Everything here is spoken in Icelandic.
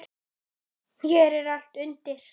En hér er allt undir.